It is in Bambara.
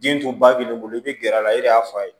Den tun ba b'e bolo i be gɛrɛ a la e de y'a f'a ye